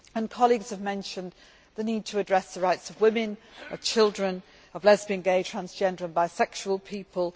well. Colleagues have also mentioned the need to address the rights of women, of children and of lesbian, gay, transgender and bisexual people.